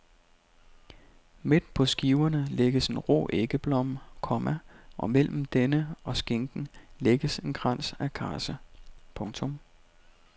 Midt på skiverne lægges en rå æggeblomme, komma og mellem denne og skinken lægges en krans af karse. punktum